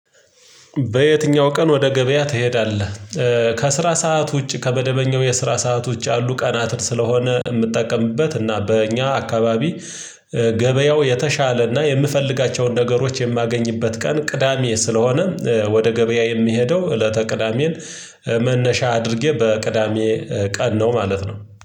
በየትኛው ቀን ወደ ገበያ ትሄዳለህ? ከስራ ሰዓት ውጪ ከመደበኛው የስራ ሰዓት ውጪ አሉ ቀናትን ስለሆነ የምጠቀምበት እና በእኛ አካባቢ። ገበያው የተሻለ እና የምፈልጋቸውን ነገሮች የማገኝበት ቀን ቅዳሜ ስለሆነ። ወደ ገበያ የምሄደው እለተ ቅዳሜን። መነሻ አድርጌ በቅዳሜ ቀን ነው ማለት ነው